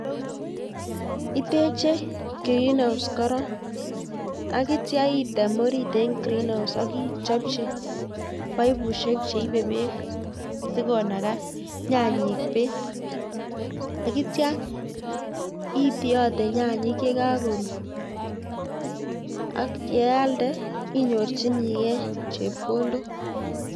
Iteche green house korong, ak yeityoo item orit en green house ak ichopchii paipussiek cheibe beek sikonagaa nyanyik beek, ak ityo itiotee nyanyik chekakobwa ak yealdee inyorchinigei chepkondok